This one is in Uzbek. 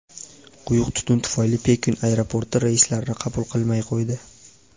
Quyuq tutun tufayli Pekin aeroporti reyslarni qabul qilmay qo‘ydi.